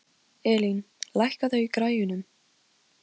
Róselía, hvernig er dagskráin?